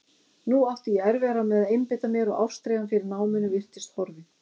Nú átti ég erfiðara með að einbeita mér og ástríðan fyrir náminu virtist horfin.